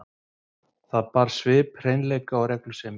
Það bar svip hreinleika og reglusemi.